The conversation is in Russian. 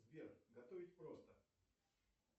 сбер готовить просто